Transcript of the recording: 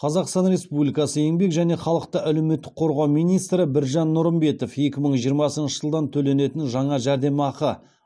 қазақстан республикасы еңбек және халықты әлеуметтік қорғау министрі біржан нұрымбетов екі мың жиырмасыншы жылдан төленетін жаңа жәрдемақы